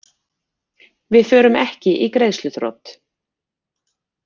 Við förum ekki í greiðsluþrot